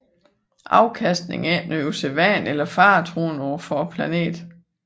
Afkastning er ikke noget usædvanligt eller faretruende for planten